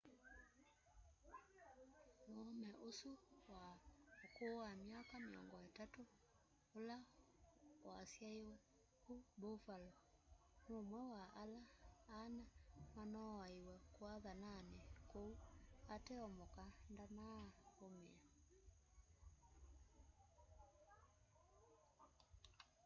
muume usu wa ukuu wa myaka 30 ula wasyaiwe ku buffalo numwe wa ala ana manoowaiwe kuathanani kuu ateo muka ndanaaumia